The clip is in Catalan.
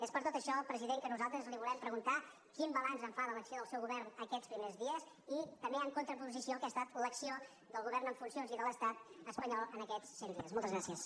és per tot això president que nosaltres li volem preguntar quin balanç en fa de l’acció del seu govern aquests primers dies i també en contraposició al que ha estat l’acció del govern en funcions i de l’estat espanyol en aquests cent dies moltes gràcies